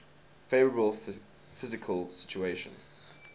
favourable fiscal situation